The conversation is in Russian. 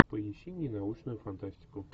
поищи мне научную фантастику